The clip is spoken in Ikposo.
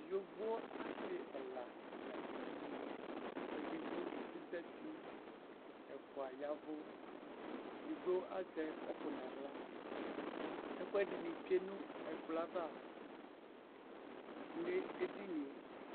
yɔvɔ asii ɛla ladʋ ɛdini, bɛdigbɔ ɛzati, ɛƒʋa yavʋ, ɛdigbɔ azɛ cʋpʋ nʋ ala, ɛkuɛdini twɛnʋ ɛkplɔɛ aɣa nʋ ɛdiniɛ